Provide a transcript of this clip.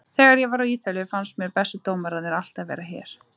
Þegar ég var á Ítalíu fannst mér bestu dómararnir alltaf vera hér.